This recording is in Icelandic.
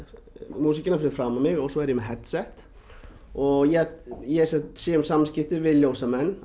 músíkina fyrir framan mig og svo er ég með headset og ég ég sé um samskiptin við ljósamenn